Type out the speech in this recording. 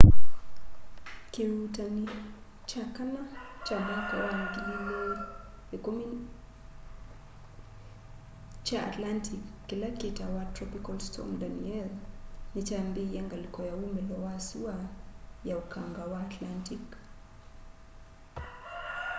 kĩuutani kya kana kya mwaka wa 2010 kya atlantic kila kitawa tropical storm danielle ni kyambiie ngaliko ya ũmilo wa sua ya ũkanga wa atlantic